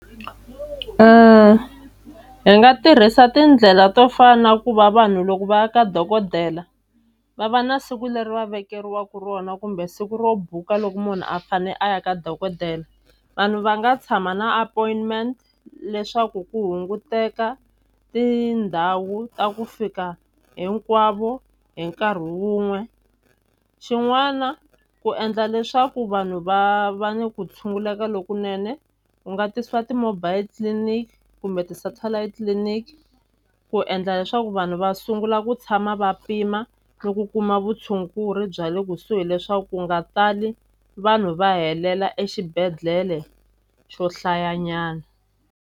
hi nga tirhisa tindlela to fana na ku va vanhu loko va ya ka dokodela va va na siku leri va vekeriwa eka rona kumbe siku ro buka loko munhu a fane a ya ka dokodela vanhu va nga tshama na appointment leswaku ku hunguteka tindhawu ta ku fika hinkwavo hi nkarhi wun'we xin'wana ku endla leswaku vanhu va va ni ku tshunguleka lokunene u nga tisiwa ti-mobile clinic kumbe ti-satellite clinic ku endla leswaku vanhu va sungula ku tshama va pima no ku kuma vutshunguri bya le kusuhi leswaku ku nga tali vanhu va helela exibedhlele xo hlayanyana.